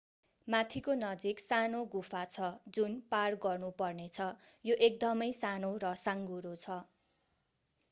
माथिको नजिक सानो गुफा छ जुन पार गर्नुपर्नेछ यो एकदमै सानो र साँघुरो छ